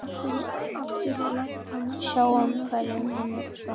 Sjáum hverju hann svarar.